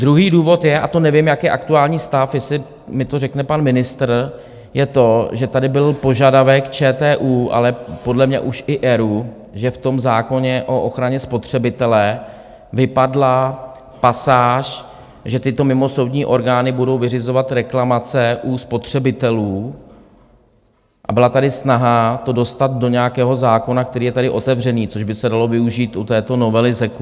Druhý důvod je, a to nevím, jaký je aktuální stav, jestli mi to řekne pan ministr, je to, že tady byl požadavek ČTÚ, ale podle mě už i ERÚ, že v tom zákoně o ochraně spotřebitele vypadla pasáž, že tyto mimosoudní orgány budou vyřizovat reklamace u spotřebitelů, a byla tady snaha to dostat do nějakého zákona, který je tady otevřený, což by se dalo využít u této novely ZEKu.